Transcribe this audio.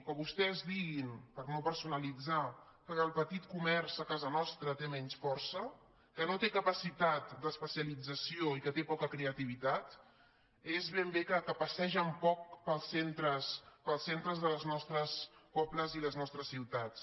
que vostès diguin per no personalitzar que el petit comerç a casa nostra té menys força que no té capacitat d’especialització i que té poca creativitat és ben bé que passegen poc pels centres pels centres dels nostres pobles i les nostres ciutats